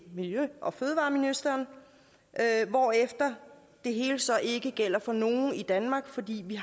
miljø og fødevareministeren hvorefter det hele så ikke gælder for nogen i danmark fordi vi